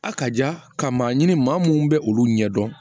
A ka ja ka maa ɲini maa minnu bɛ olu ɲɛ dɔn